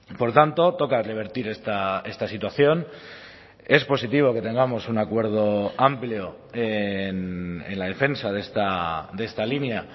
por tanto toca a revertir esta situación es positivo que tengamos un acuerdo amplio en la defensa de esta línea